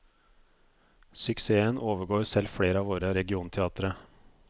Suksessen overgår selv flere av våre regionteatre.